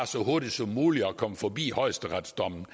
så hurtigt som muligt at komme forbi højesteretsdommen